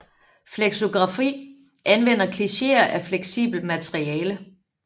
Flexografi anvender klicheer af fleksibelt materiale